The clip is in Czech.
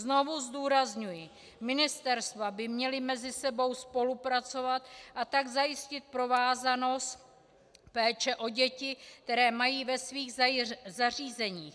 Znovu zdůrazňuji, ministerstva by měla mezi sebou spolupracovat, a tak zajistit provázanost péče o děti, které mají ve svých zařízeních.